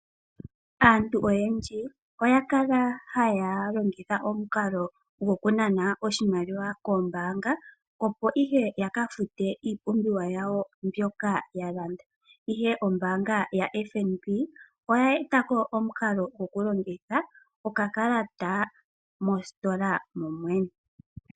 Aantu oyendji oya kala haya longitha omukalo goku nana oshimaliwa kombaanga, opo ihe ya ka fute iipumbiwa yawo mbyoka ya landa, ihe ombaanga yaFNB oya e ta ko omukalo goku longitha okakalata moositola momwene.